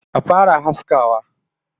Action!